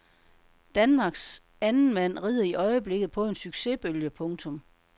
Danmarks andenmand rider i øjeblikket på en succesbølge. punktum